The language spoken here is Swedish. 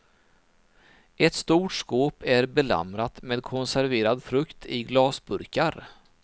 Ett stort skåp är belamrat med konserverad frukt i glasburkar.